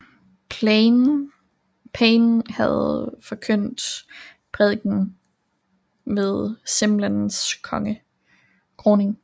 Payne havde forkyndt prædikenen ved Simnels kroning